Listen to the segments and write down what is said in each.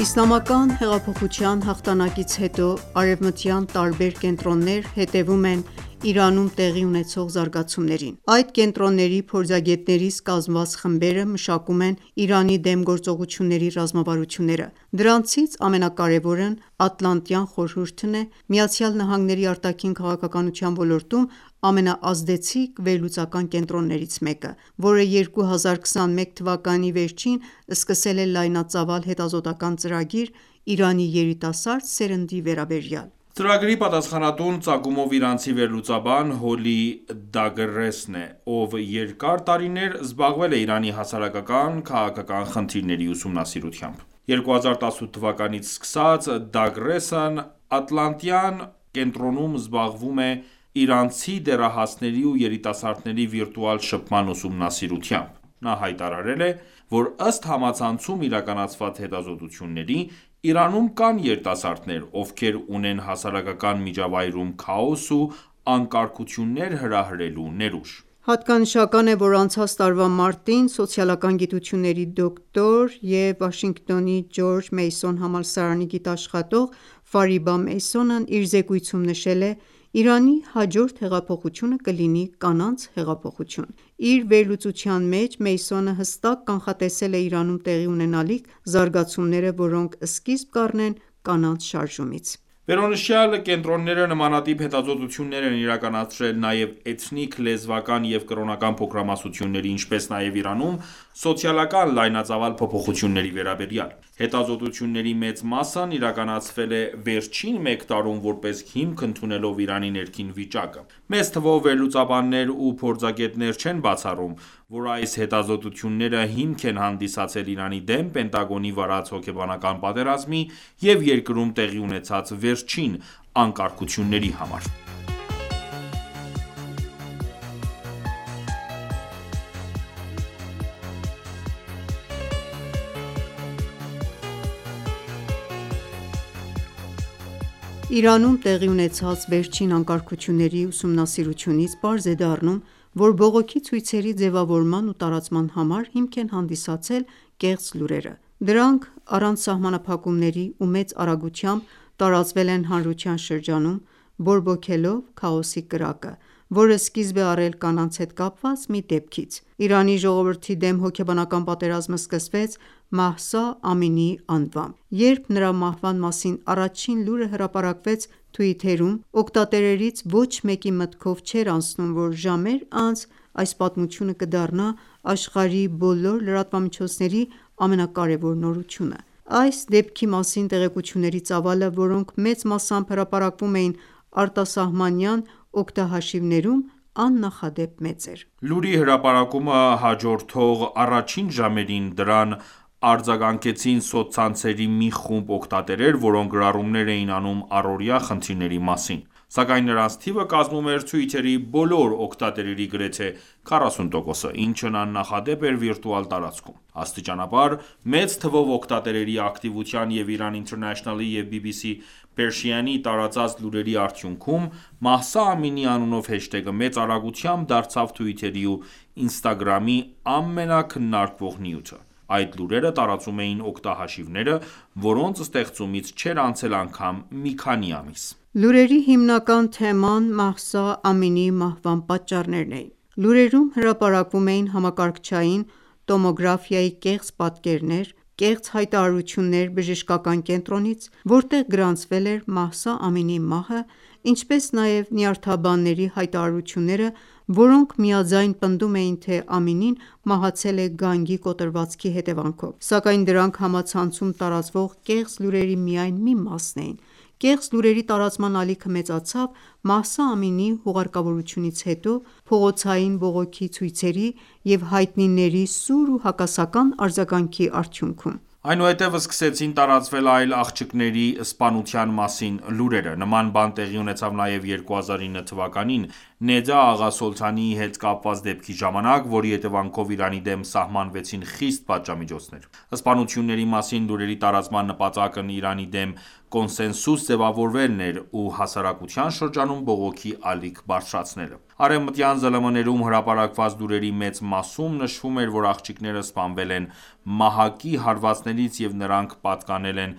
Իսլամական հեղափոխության հաղթանակից հետո, արևմտյան տարբեր կենտրոններ հետևում են Իրանում տեղի ունեցող զարգացումներին: Այդ կենտրոնների փորձագետներից կազմված խմբերը մշակում են Իրանի դեմ գործողությունների ռազմավարությունները: Դրանցից ամենակարևորն Ատլանտյան խորհուրդն է՝ ԱՄՆ արտաքին քաղաքականության ոլորտում ամենաազդեցիկ վերլուծական կենտրոններից մեկը, որը 2021 թվականի վերջին սկսել է լայնածավալ հետազոտական ծրագիր՝ Իրանի երիտասարդ սերնդի վերաբերյալ: Ծրագրի պատասխանատուն ծագումով իրանցի վերլուծաբան Հոլլի Դագրեսն է, ով երկար տարիներ զբաղվել է Իրանի հասարակական-քաղաքական խնդիրների ուսումնասիրությամբ: 2018թ սկսած Դագրեսն Անտլանտայն կենտրոնում զբաղվում է իրանցի դեռահասների ու երիտասարների վիրտուալ շփման ուսումնասիրութամբ: Նա հայտարարել է, որ ըստ համացանցում իրականացված հետազտությունների՝ Իրանում կան երիտասարդներ, ովքեր ունեն հասարակական միջավայրում քաոս ու անկարգություններ հրահրելու ներուժ: Հատկանշական է, որ անցած տարվա մարտին սոցիալական գիտությունների դոկտոր և Վաշինգտոնի Ջորջ Մեյսոն համալսարանի գիտաշխատող Ֆարիբա Փարսան իր զեկույցում նշել է. «Իրանի հաջորդ հեղափոխությունը կլինի կանանց հեղափոխություն»: Իր վերլուծության մեջ հստակ կանխատեսվել էր Իրանում տեղի ունենալիք զարգացումները, որոնք սկզիբ կառնեն կանանց շարժումից: Վերոնշյալ կենտրոնները նմանատիպ հետազոտություններ են իրականացրել նաև էթնիկ, լեզվական և կրոնական փոքրամասնությունների, ինչպես նաև Իրանում սոցիալական լայնածավալ փոփոխությունների վերաբերյալ: Հետազոտությունների մեծ մասն իրականացվել է վերջին մեկ տարում՝ որպես հիմք ընդունելով Իրանի ներքին վիճակը: Մեծ թվով վերլուծաբաններ ու փորձագետներ չեն բացառում, որ այս հետազոտությունները հիմք են հանդիսացել Իրանի դեմ Պենտագոնի վարած հոգեբանական պատերազմի և երկրում տեղի ունեցած վերջին անկարգությունների համար: Իրանում տեղի ունեցած վերջին անկարգությունների ուսումնասիրությունից պարզ է դառնում, որ բողոքի ցույցերի ձևավորման ու տարածման համար հիմք են հանդիսացել կեղծ լուրերը: Դրանք առանց սահմանափակումների ու մեծ արագությամբ տարածվել են հանրության շրջանում, բորբոքելով քաոսի կրակը, որը սկիզբ է առել կանանց հետ կապված մի դեպքից: Իրանի ժողովրդի դեմ հոգեբանական պատերազմը սկսվեց Մահսա Ամինիի անվամբ: Երբ նրա մահվան մասին առաջին լուրը հրապարակվեց Twitter-ում, օգտատերերից ոչ մեկի մտքով չէր անցնում, որ ժամեր անց այս պատմությունը կդառնա աշխարհի բոլոր լրատվամիջոցների ամենակարևոր նորությունը։ Այս դեպքի մասին տեղեկությունների ծավալը, որոնք մեծ մասամբ հրապարակվում էին արտասահմանյան օգտահաշիվներում, աննախադեպ մեծ էր: Լուրի հրպարակմանը հաջորդող առաջին ժամերին դրան արձագանքեցին սոցցանցերի մի խումբ օգտատերեր, որոնք գրառումներ էին անում առօրյա խնդիրների մասին: Սակայն նրանց թիվը կազմում էր Twitter-ի բոլոր օգտատերերի գրեթե 40%-ը, ինչն աննախադեպ էր վիրտուալ տարածքում։ Աստիճանաբար, մեծ թվով օգտատերերի ակտիվության և Iran International-ի և BBC Persian-ի տարածած լուրերի արդյունքում, Մահսա Ամինիի անունով հեշթեգը մեծ արագությամբ դարձավ Twitter-ի ու Instagram-ի ամենաքննարկվող նյութը: Այդ լուրերը տարածում էին օգտահաշիվները, որոնց ստեղծումից չէր անցել անգամ մի քանի ամիս: Լուրերի հիմնական թեման Մահսա Ամինիի մահվան պատճառներն էին: Լուրերում հրապարակվում էին համակարգչային տոմոգրաֆիայի կեղծ պատկերներ, կեղծ հայտարարություններ բժշկական կենտրոնից, որտեղ գրանցվել էր Մահսա Ամինիի մահը, ինչպես նաև նյարդաբանների հայտարարությունները, որոնք միաձայն պնդում էին, թե Ամինին մահացել է գանգի կոտրվածքի հետևանքով: Սակայն դրանք համացանցում տարածվող կեղծ լուրերի միայն մի մասն էին: Կեղծ լուրերի տարածման ալիքը մեծացավ Մահսա Ամինիի հուղարկավորությունցից հետո, փողոցային բողոքի ցույցերի և հայտնիների սուր ու հակասական արձագանքի արդյունքում: Այնուհետև սկսեցին տարածվել այլ աղջկների սպանության մասին լուրերը: Նման բան տեղի ունեցավ նաև 2009 թվականին, Նեդա Աղա Սոլթանիի հետ կապված դեպքի ժամանակ, որի հետևանքով Իրանի դեմ սահմանվեցին խիստ պատժամիոջցներ: Սպանությունների մասին լուրերի տարածման նպատակն Իրանի դեմ կոնսենսուս ձևավորելն էր ու հասարակության շրջանում բողոքի ալիք բարձրացնելը: Արևմտյան ԶԼՄ-ներում հրապարակված լուրերի մեծ մասում նշվում էր, որ աղջիկները սպանվել են մահակի հարվածներից և նրանք պատկանել են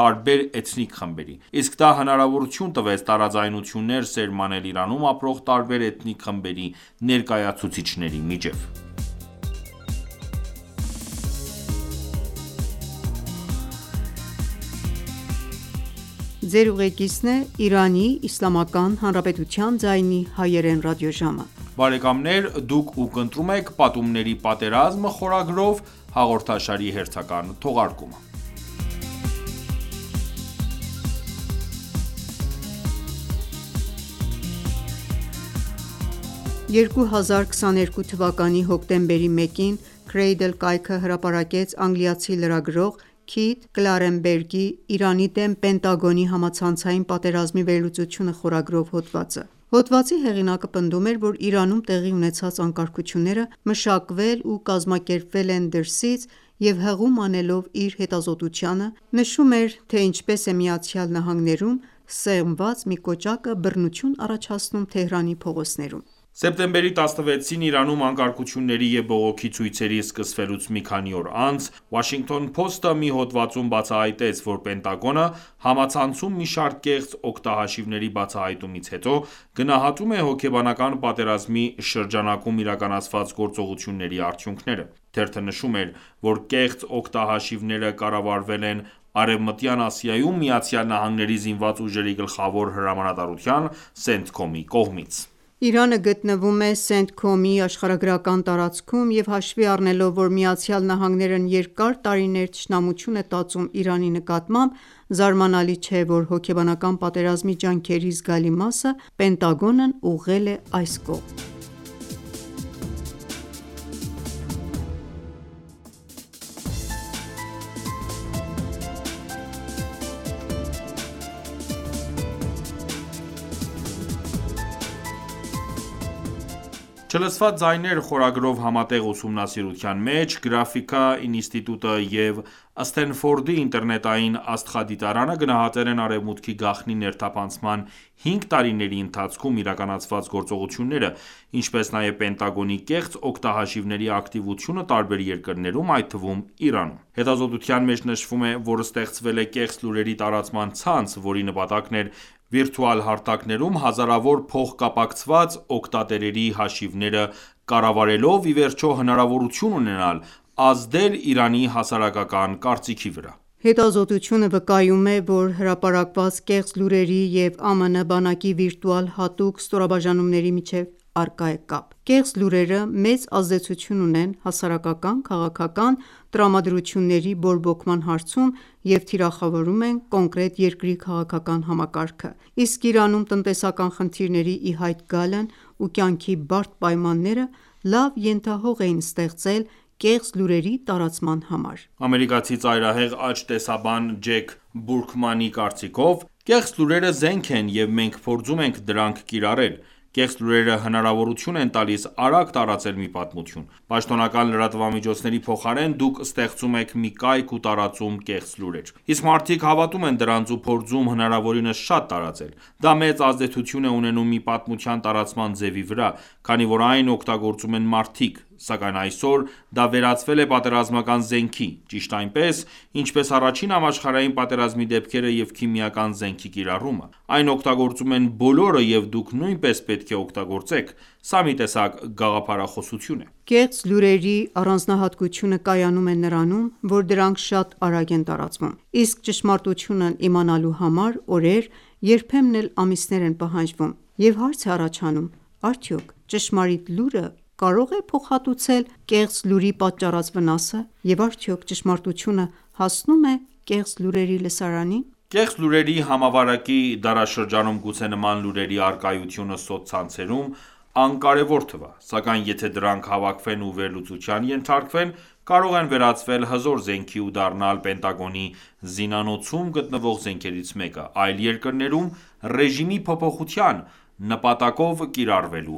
տարբեր էթնիկ խմբերի: Իսկ դա հնարավորություն տվեց տարաձայնություններ սերմանել Իրանում ապրող տարբեր էթնիկ խմբերի ներկայացուցիչների միջև: 2022 թվականի հոկտեմբերի 1-ին Cradle կայքը հրապարակեց անգլիացի լրագրող Քիթ Կլարենբերգի՝ «Իրանի դեմ Պենտագոնի համացանցային պատերազմի վերլուծությունը» խորագրով հոդվածը: Հոդվածի հեղինակը պնդում էր, որ Իրանում տեղի ունեցած անկարգությունները մշակվել ու կազմակերպվել են դրսից և հղում անելով իր հետազոտությանը, նշում էր, թե ինչպես է ԱՄՆ-ում սեղմված մի կոճակը բռնություն առաջացնում Թեհրանի փողոցներում: Սեպտեմբերի 16-ին Իրանում անկարգությունների և բողոքի ցույցերի սկսվելուց մի քանի օր անց, Washington Post-ը մի հոդվածում բացահայտեց, որ Պենտագոնը, համացանցում մի շարք կեղծ օգտագհաշիվների բացահայտումից հետո, գնահատում է հոգեբանական պատերազմի շրջանակում իրականացված գործողությունների արդյունքները: Թերթը նշում էր, որ կեղծ օգտահաշիվները կառավարվել են Արևմտյան Ասիայում ԱՄՆ-ի ԶՈՒ գլխավոր հրամանատարության՝ Centcom-ի կողմից: Իրանը գտնվում է Centcom-ի աշխարհագրական տարածքում և հաշվի առնելով, որ ԱՄՆ-ն երկար տարիներ թշնամություն է տածում Իրանի նկատմամբ, զարմանալի չէ, որ հոգեբանական պատերազմի ջանքերի զգալի մասը Պենտագոնն ուղղել է այս կողմ: «Չլսված ձայներ» խորագրով համատեղ ուսումնասիրության մեջ Graphika ինստիտուտը և Սթենֆորդի ինտերնետային աստղադիտարանը գնահատել են Արևմուտքի գաղտնի ներթափանցման 5 տարիների ընթացքում իրականացված գործողությունները, ինչպես նաև Պենտագոնի կեղծ օգտահաշիվների ակտիվությունը տարբեր երկրներում, այդ թվում՝ Իրանում: Հետազոտության մեջ նշվում է, որ ստեղծվել է կեղծ լուրերի տարածման ցանց, որի նպատակն էր վիրտուալ հարթակներում հազարավոր փոխկապակցված օգտատերերի հաշիվները կառավարելով ի վերջո հնարավորություն ունենալ ազդել Իրանի հասարակական կարծիքի վրա: Հետազտությունը վկայում է, որ հրապարակված կեղծ լուրերի և ԱՄՆ բանակի վիրտուալ հատուկ ստորաբաժանումների միջև առկա է կապ։ Կեղծ լուրերը մեծ ազդեցություն ունեն հասարակական-քաղաքական տրամադրությունների բորբոքման հարցում և թիրախավորում են կոնկրետ երկրի քաղաքական համակարգը: Իսկ Իրանում տնտեսական խնդիրների ի հայտ գալն ու կյանքի բարդ պայմանները լավ ենթահող էին ստեղծել կեղծ լուրերի տարածման համար: Ամերիկացի ծայրահեղ աջ տեսաբան Ջեք Բուրքմանի կարծիքով. «Կեղծ լուրերը զենք են և մենք փորձում ենք դրանք կիրառել: Կեղծ լուրերը հնարավորություն են տալիս արագ տարածել մի պատմություն: Պաշտոնական լրատվամիջոցների փոխարեն, դուք ստեղծում եք մի կայք ու տարածում կեղծ լուրեր: Իսկ մարդիկ հավատում են դրանց ու փորձում հնարավորինս շատ տարածել: Դա մեծ ազդեցություն է ունենում մի պատմության տարածման ձևի վրա, քանի որ այն օգտագործում են մարդիկ: Սակայն այսօր դա վերածվել է պատերազմական զենքի: Ճիշտ այնպես, ինչպես Առաջին համաշխարհային պատերազմի դեպքերը և քիմիական զենքի կիրառումը: Այն օգտագործում են բոլորը և դուք նույնպես պետք է օգտագործեք: Սա մի տեսակ գաղափարախոսություն է»: Կեղծ լուրերի առանձնահատկությունը կայանում է նրանում, որ դրանք շատ արագ են տարածվում: Իսկ ճշմարտությունն իմանալու համար օրեր, երբեմն էլ ամիսներ են պահանջվում: Եվ հարց է առաջանում: Արդյոք ճշմարիտ լուրը կարո՞ղ է փոխհատուցել կեղծ լուրի պատճառած վնասը: Եվ արդյոք ճշմարտությունը հասնո՞ւմ է կեղծ լուրերի լսարանին: Կեղծ լուրերի համավարակի դարաշրջանում գուցե նման լուրերի առկայությունը սոցցանցերում անկարևոր թվա, սակայն եթե դրանք հավաքվեն ու վերլուծության ենթարկվեն, կարող են վերածվել հզոր զենքի ու դառնալ Պենտագոնի զինանոցում գտնվող զենքերից մեկը՝ այլ երկրներում «ռեժիմի փոփոխության» նպատակով կիրառվելու